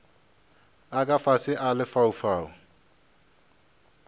a ka fase a lefaufau